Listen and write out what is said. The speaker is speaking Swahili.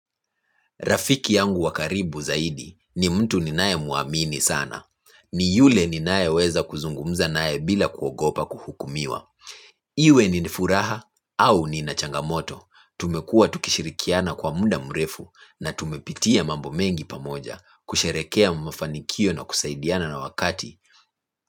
Rafiki yangu wa karibu zaidi ni mtu ninae muamini sana. Ni yule ninae weza kuzungumza nae bila kuogopa kuhukumiwa. Iwe nina furaha au nina changamoto. Tumekuwa tukishirikiana kwa mda mrefu na tumepitia mambo mengi pamoja kusherehekea mafanikio na kusaidiana na wakati.